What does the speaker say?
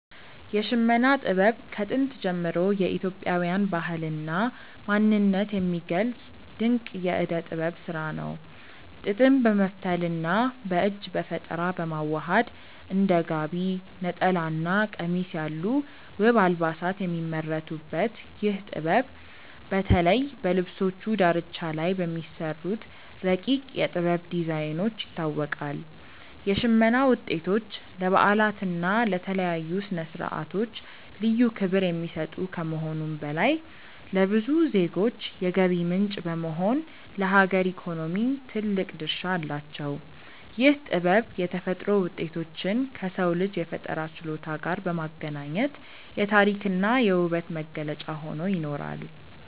የሽመና ጥበብ ከጥንት ጀምሮ የኢትዮጵያን ባህልና ማንነት የሚገልጽ ድንቅ የእደ ጥበብ ስራ ነው። ጥጥን በመፍተልና በእጅ በፈጠራ በማዋሃድ እንደ ጋቢ፣ ነጠላና ቀሚስ ያሉ ውብ አልባሳት የሚመረቱበት ይህ ጥበብ፣ በተለይ በልብሶቹ ዳርቻ ላይ በሚሰሩት ረቂቅ የ"ጥበብ" ዲዛይኖች ይታወቃል። የሽመና ውጤቶች ለበዓላትና ለተለያዩ ስነ-ስርዓቶች ልዩ ክብር የሚሰጡ ከመሆኑም በላይ፣ ለብዙ ዜጎች የገቢ ምንጭ በመሆን ለሀገር ኢኮኖሚ ትልቅ ድርሻ አላቸው። ይህ ጥበብ የተፈጥሮ ውጤቶችን ከሰው ልጅ የፈጠራ ችሎታ ጋር በማገናኘት የታሪክና የውበት መገለጫ ሆኖ ይኖራል።